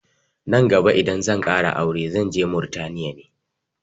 Nan gaba idan zan ƙara aure zanje Murtaniya ne